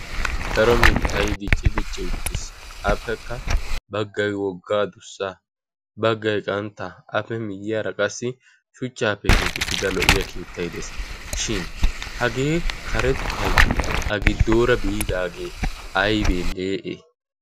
Daro mittay dicci dicci uttiis. appekka baggay wogga addussay. baggay qantta. appe miyyiyaara qassi shuchchaappe keexxettida lo''iya keettay de'ees. shin hagee karettay A giddoora biidaage aybee le'ee?